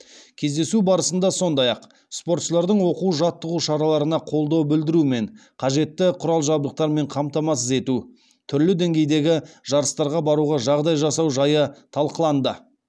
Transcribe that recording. кездесу барысында сондай ақ спортшылардың оқу жаттығу шараларына қолдау білдіру мен қажетті құрал жабдықтармен қамтамасыз ету түрлі деңгейдегі жарыстарға баруға жағдай жасау жайы талқыланды